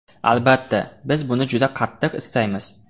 Albatta, biz buni juda qattiq istaymiz.